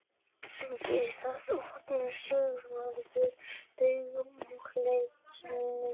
Við það opnaði Sigvarður augun og leit til mín.